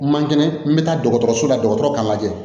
Man kɛnɛ n bɛ taa dɔgɔtɔrɔso la dɔgɔtɔrɔw ka lajɛ